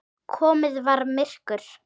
Komið var myrkur.